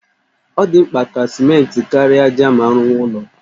Ọ dị mkpa ka simenti kara ájá ma a rụwa ụlọ